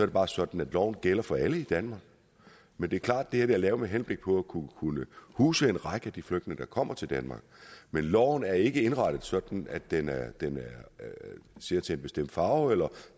det bare sådan at loven gælder for alle i danmark men det er klart at det her er lavet med henblik på at kunne huse en række af de flygtninge der kommer til danmark men loven er ikke indrettet sådan at den at den ser til en bestemt farve eller